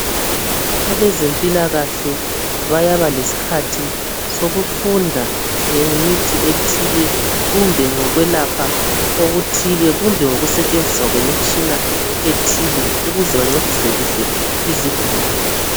Abezempilakahle bayaba lesikhathi sokufunda ngemithi ethile, kumbe ngokwelapha okuthile, kumbe ngokusetshenziswa kwemitshina ethile ukuze bancedise kuhle izigulane.